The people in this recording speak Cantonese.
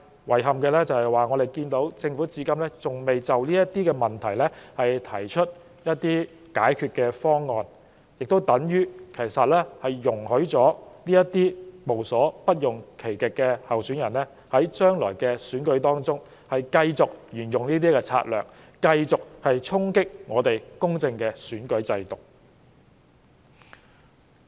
遺憾的是，政府至今仍未就相關問題提出解決方案，變相容許這些無所不用其極的候選人在未來的選舉中繼續採用這些策略，衝擊我們公正的選舉制度。